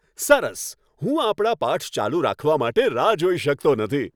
સરસ! હું આપણા પાઠ ચાલુ રાખવા માટે રાહ જોઈ શકતો નથી.